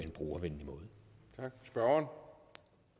om